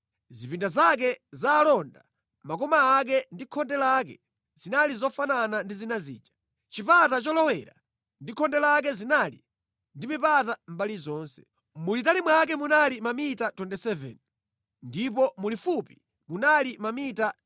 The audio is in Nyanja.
Zipinda zake za alonda, makoma ake ndi khonde lake zinali zofanana ndi zina zija. Chipata cholowera ndi khonde lake zinali ndi mipata mʼmbali zonse. Mulitali mwake munali mamita 27 ndipo mulifupi munali mamita 13.